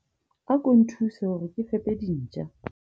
ako nthuse hore ke fepe dintja